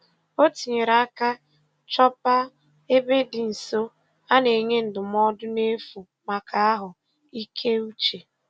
O tinyere aka chọba ebe dị nso a na-enye ndụmọdụ n'efu maka ahụ ike uche